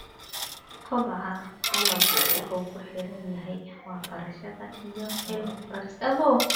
Kobaca dalaggu wuxuu ku xiran yahay waxbarashada iyo cilmi baarista.